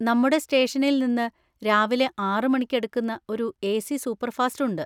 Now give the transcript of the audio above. നമ്മുടെ സ്റ്റേഷനിൽന്ന് രാവിലെ ആറ് മണിക്ക് എടുക്കുന്ന ഒരു എ. സി സൂപ്പർഫാസ്റ്റ് ഉണ്ട്.